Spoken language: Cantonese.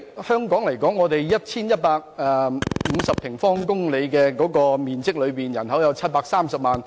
香港佔地 1,150 平方公里，人口有730萬。